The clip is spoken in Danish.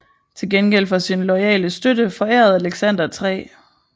Til gengæld for sin loyale støtte forærede Alexander 3